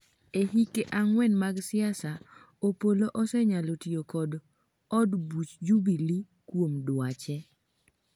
e hike ang'wen mag siasa, Opollo osenyalo tiyo kod od buch Jubilee kuom dwache